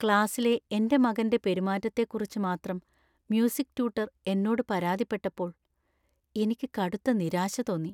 ക്ലാസിലെ എന്‍റെ മകന്‍റെ പെരുമാറ്റത്തെക്കുറിച്ച് മാത്രം മ്യൂസിക് ട്യൂട്ടർ എന്നോട് പരാതിപ്പെട്ടപ്പോൾ എനിക്ക് കടുത്ത നിരാശ തോന്നി.